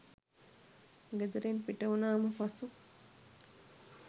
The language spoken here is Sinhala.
ගෙදරින් පිටවුණාම පසු